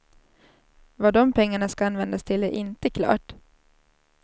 Vad de pengarna ska användas till är inte klart.